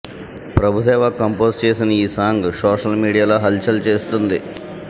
Prabhudeva compose చేసిన ఈ song social మీడియాలో హల్చల్ చేస్తోంది